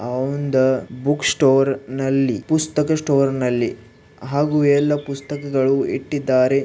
ಆ ಒಂದು book store ನಲ್ಲಿ ಪುಸ್ತಕ ಸ್ಟೋರ್ನಲ್ಲಿ ಹಾಗೂ ಎಲ್ಲ ಪುಸ್ತಕಗಳು ಇಟ್ಟಿದ್ದಾರೆ.